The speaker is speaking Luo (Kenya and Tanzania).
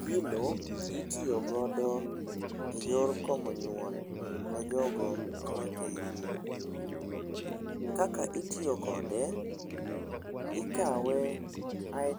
Gino itiyo godo eyor komo nyuol ne jogo ma wakeyini. Kaka itiyo kode, ikawe